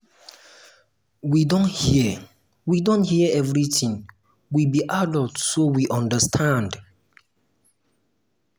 we don hear we don hear everything we be adults so we understand